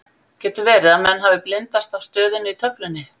Getur verði að menn hafi blindast af stöðunni í töflunni?